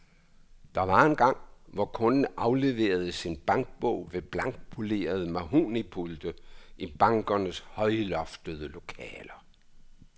Der var engang, hvor kunden afleverede sin bankbog ved blankpolerede mahognipulte i bankernes højloftede lokaler.